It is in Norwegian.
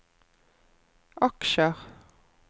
aksjer